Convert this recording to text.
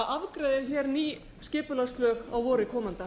afgreiða hér ný skipulagslög á vori komanda